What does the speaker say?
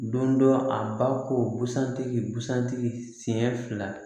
Don dɔ a ba ko busan tigi busan tigi sen fila